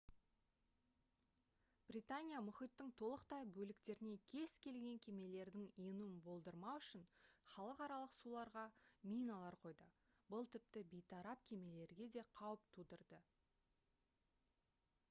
британия мұхиттың толықтай бөліктеріне кез келген кемелердің енуін болдырмау үшін халықаралық суларға миналар қойды бұл тіпті бейтарап кемелерге де қауіп тудырды